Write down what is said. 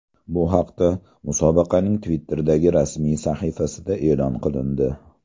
Bu haqda musobaqaning Twitter’dagi rasmiy sahifasida e’lon qilindi .